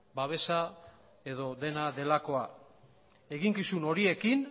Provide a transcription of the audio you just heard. babesa edo dena delako eginkizun horiekin